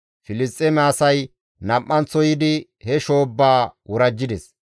Filisxeeme asay nam7anththo yiidi he shoobbaa worajjides.